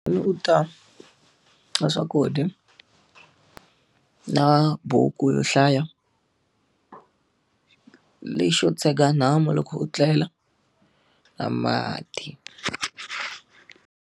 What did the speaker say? U ta, na swakudya, na buku yo hlaya lexo tshega nhamu loko u tlela na mati.